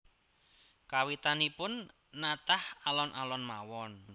Kawitanipun natah alon alon mawon